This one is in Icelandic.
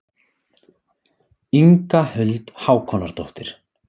Inga Huld Hákonardóttir.